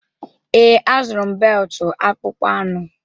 Ee, a zụrụ m beltụ akpụkpọ anụ.